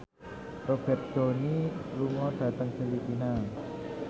Robert Downey lunga dhateng Filipina